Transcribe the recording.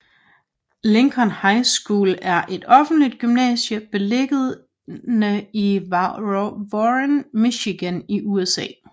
Lincoln High School er et offentlig gymnasium beliggende i Warren i Michigan i USA